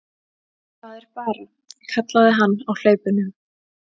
Það er bara, kallaði hann á hlaupunum.